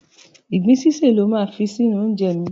Ìgbín sísè lo máa fi sí inú oúnjẹ mi.